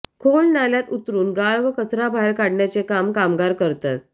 खोल नाल्यात उतरुन गाळ व कचरा बाहेर काढण्याचे काम कामगार करतात